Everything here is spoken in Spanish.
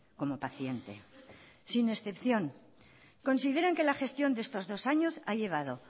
como paciente sin excepción consideran que la gestión de estos dos años ha llevado